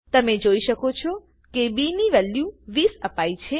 તમે જોઈ શકો છો કે બી ની વેલ્યુ 20 અપાઈ છે